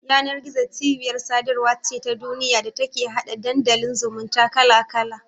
Yanar-gizo cibiyar sadarwa ce ta duniya da take hada Dandalin zumunta kala-kala.